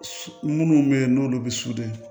Minnu bɛ yen n'olu bɛ soden